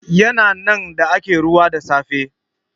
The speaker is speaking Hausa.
Ya na nan da ake ruwa da safe.